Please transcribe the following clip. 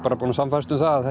búinn að sannfærast um það að